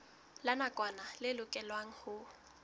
la nakwana le lokelwang ho